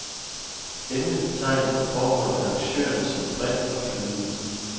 Emnet betegnes på forhånd af arrangørerne som bredt og flydende.